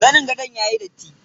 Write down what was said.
Zanin gadon yayi datti.